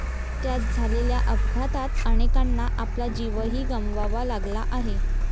त्यात झालेल्या अपघातात अनेकांना आपला जीवही गमवावा लागला आहे.